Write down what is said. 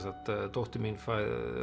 dóttir mín